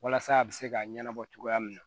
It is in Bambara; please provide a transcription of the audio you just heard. Walasa a bɛ se ka ɲɛnabɔ cogoya min na